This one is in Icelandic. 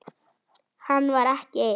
Hann var ekki einn.